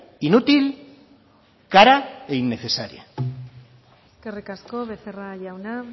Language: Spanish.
inútil cara e innecesaria eskerrik asko becerra jauna